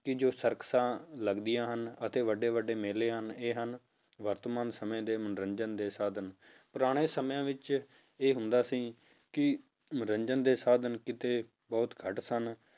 ਕਿ ਜੋ ਸਰਕਸਾਂ ਲੱਗਦੀਆਂ ਹਨ ਅਤੇ ਵੱਡੇ ਵੱਡੇ ਮੇਲੇ ਹਨ ਇਹ ਹਨ ਵਰਤਮਾਨ ਸਮੇਂ ਦੇ ਮਨੋਰੰਜਨ ਦੇ ਸਾਧਨ ਪੁਰਾਣੇ ਸਮਿਆਂ ਵਿੱਚ ਇਹ ਹੁੰਦਾ ਸੀ ਕਿ ਮਨੋਰੰਜਨ ਦੇ ਸਾਧਨ ਕਿਤੇ ਬਹੁਤ ਘੱਟ ਸਨ